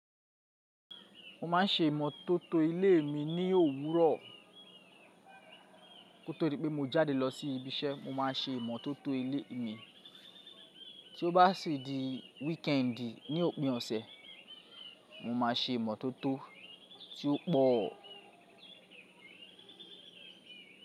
Mo ma n ṣe ìmọ́tótó ilé mi ní òwúrọ̀. Kótó dí pé mo jáde lọ sí ibi iṣẹ́ mo ma n ṣe ìmọ́tótó ilé mi. Tí ó bá si di wíkẹ́ẹ̀ndì ní òpin ọ̀sẹ̀, mo ma n ṣe ìmọ́tótó tí ó pọ̀.